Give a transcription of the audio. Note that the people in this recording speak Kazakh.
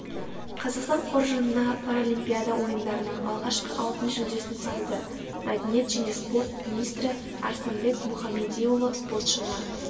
қазақстан қоржынына паралимпиада ойындарының алғашқы алтын жүлдесін салды мәдениет және спорт министрі арыстанбек мұхамедиұлы спортшыны